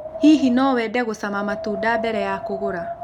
Hihi no wende gucama matunda mbere ya kũgũra?